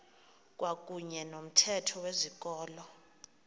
kwakuyne nomthetho wezikolo